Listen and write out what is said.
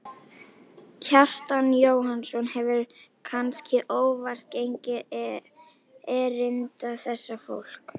Kjartan Jóhannsson hefur, kannske óvart, gengið erinda þessa fólks.